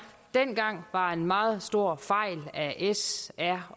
dengang var en meget stor fejl af s r